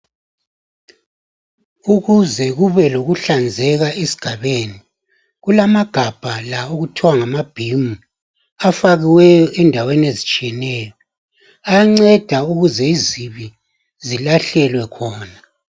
Ukuze kube lokuhlanzeka esigabeni kulamagabha la okuthiwa ngamabhimi afakiweyo endaweni ezitshiyeneyo anceda ukuze izibi zilahlelwe khona